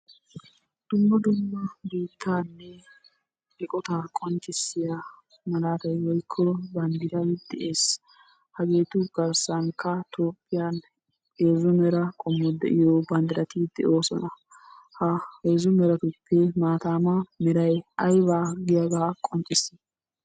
Dumma dumma bootanne eqqota qonccissiya malatay woykko banddray de'ees. Haheetu garsssn Topphiyan heezzu meray qommo de'iyo banddrati de'oosona. Ha meratuppe maatama meray aybba giyaaga qonccissii?